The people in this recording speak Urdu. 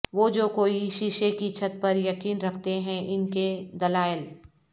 وہ جو کوئی شیشے کی چھت پر یقین رکھتے ہیں ان کے دلائل